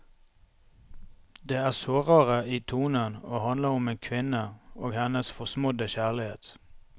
Det er sårere i tonen og handler om en kvinne og hennes forsmådde kjærlighet.